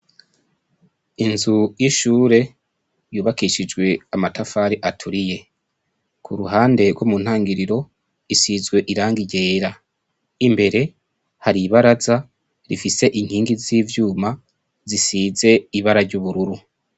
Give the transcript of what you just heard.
Inzu y' ishure yubakishijwe amatafari aturiye kuruhande gwo mu ntangiriro isizwe irangi ryera imbere hari ibaraza rifise inkingi z'ivyuma zisize ibara ry'ubururu.